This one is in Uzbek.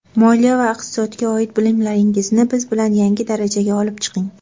Moliya va iqtisodga oid bilimlaringizni biz bilan yangi darajaga olib chiqing.